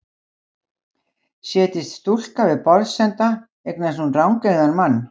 Setjist stúlka við borðsenda eignast hún rangeygðan mann.